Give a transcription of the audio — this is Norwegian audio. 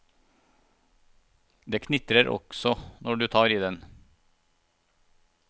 Den knitrer også når du tar i den.